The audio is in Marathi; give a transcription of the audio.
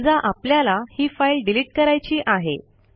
समजा आपल्याला ही फाईल डिलिट करायची आहे